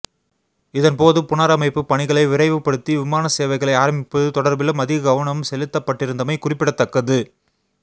இதன் போது புனரமைப்பு பணிகளை விரைவுபடுத்தி விமான சேவைகளை ஆரம்பிப்பது தொடர்பிலும் அதிக கவனம் செலுத்தப்பட்டிருந்தமை குறிப்பிடத்தக்கது